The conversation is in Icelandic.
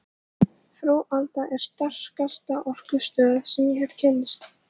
Frú Alda er sterkasta orkustöð sem ég hef kynnst.